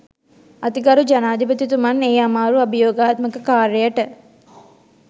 අතිගරු ජනාධිපතිතුමන් ඒ අමාරු අභියෝගාත්මක කාර්යයට